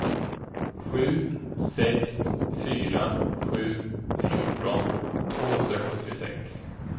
sju sex fyra sju fjorton tvåhundrasjuttiosex